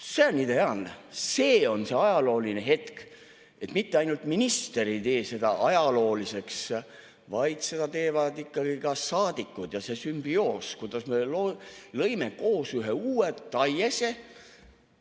See on ideaalne, see on see ajalooline hetk, et mitte ainult minister ei tee seda ajalooliseks, vaid seda teevad ikkagi ka saadikud ja see sümbioos, kuidas me lõime koos ühe uue taiese.